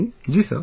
Ji sir